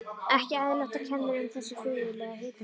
Ekki eðlilegt, og kennir um þessu furðulega hitakófi.